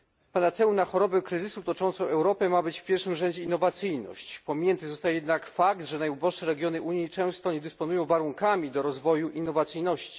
Panaceum na chorobę kryzysu toczącą Europę ma być w pierwszym rzędzie innowacyjność, pominięty zostaje jednak fakt, że najuboższe regiony Unii często nie dysponują warunkami do rozwoju innowacyjności.